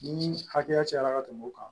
Ni hakɛya cayara ka tɛmɛ o kan